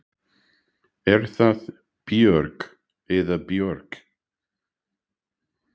Er það Björg eða Björk?